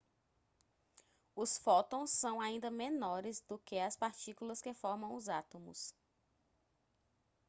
os fótons são ainda menores do que as partículas que formam os átomos